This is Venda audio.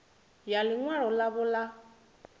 ya ḽi ṅwalo ḽavho ḽa